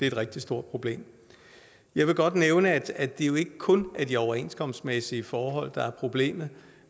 et rigtig stort problem jeg vil godt nævne at det jo ikke kun er de overenskomstmæssige forhold der er problemet